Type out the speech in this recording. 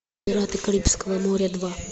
пираты карибского моря два